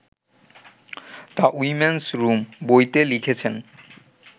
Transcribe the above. ‘the women's room’ বইতে লিখেছেন